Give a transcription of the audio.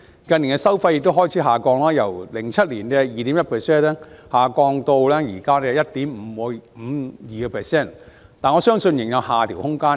近年收費亦開始下降，由2007年 2.1%， 下降至目前 1.52%， 但我相信仍有下調的空間。